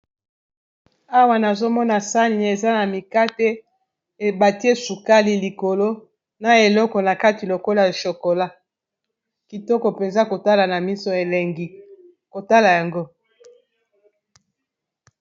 Awa nazomona sani eza na mikate ebati sukali likolo na eleko na kati lokola shokola kitoko mpenza kotala na miso elengi kotala yango.